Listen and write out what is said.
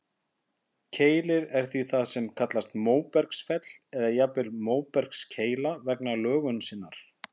Keilir er því það sem kallast móbergsfell, eða jafnvel móbergskeila vegna lögunar sinnar.